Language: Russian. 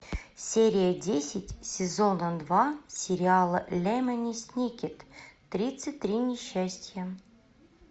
серия десять сезона два сериала лемони сникет тридцать три несчастья